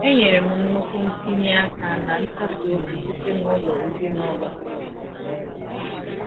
E nyere m nnukwu ntinye aka na nkasi obi site n’ụlọ ezinụlọ a.